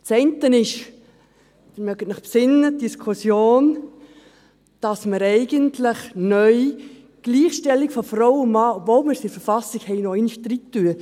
Das eine ist, Sie erinnern sich, die Diskussion, dass wir eigentlich neu die Gleichstellung von Frau und Mann, obwohl wir sie in der Verfassung haben, noch einmal reintun.